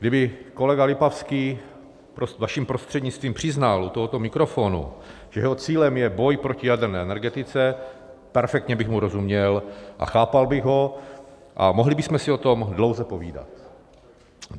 Kdyby kolega Lipavský, vaším prostřednictvím, přiznal u tohoto mikrofonu, že jeho cílem je boj proti jaderné energetice, perfektně bych mu rozuměl a chápal bych ho a mohli bychom si o tom dlouze povídat.